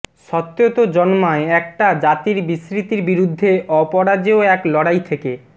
সত্যতো জন্মায় একটা জাতির বিস্মৃতির বিরুদ্ধে অপরাজেয় এক লড়াই থেকে